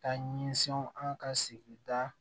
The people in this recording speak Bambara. Ka ɲɛsin an ka sigida